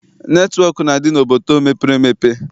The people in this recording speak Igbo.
Netịwọk na-adị n'obodo mepere emepe.